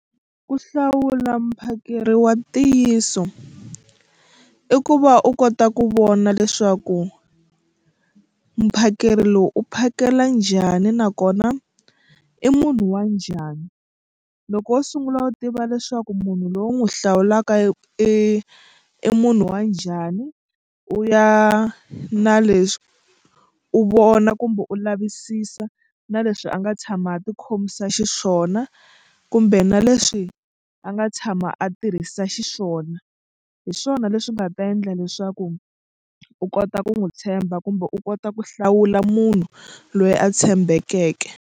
Ku hlawula muphakeri wa ntiyiso i ku va u kota ku vona leswaku muphakeri lowu wu phakela njhani nakona i munhu wa njhani. Loko wo sungula u tiva leswaku munhu loyi u n'wi hlawulaka i i munhu wa njhani u ya na leswi u vona kumbe u lavisisa na leswi a nga tshama a tikhomisa xiswona kumbe na leswi a nga tshama a tirhisa xiswona hi swona leswi nga ta endla leswaku u kota ku n'wi tshemba kumbe u kota ku hlawula munhu loyi a tshembekeke.